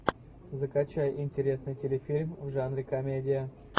закачай интересный телефильм в жанре комедия